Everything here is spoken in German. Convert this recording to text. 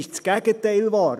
Das Gegenteil ist wahr.